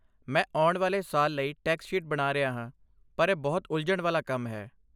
ਮੈਂ ਆਉਣ ਵਾਲੇ ਸਾਲ ਲਈ ਟੈਕਸ ਸ਼ੀਟ ਬਣਾ ਰਿਹਾ ਹਾਂ, ਪਰ ਇਹ ਬਹੁਤ ਉਲਝਣ ਵਾਲਾ ਕੰਮ ਹੈ।